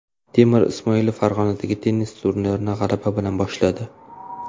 Temur Ismoilov Farg‘onadagi tennis turnirini g‘alaba bilan boshladi.